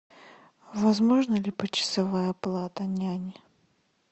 возможна ли почасовая оплата няни